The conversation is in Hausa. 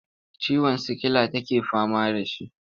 Ciwon sikila take fama da shi.